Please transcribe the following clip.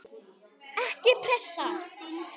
Ekki pressa!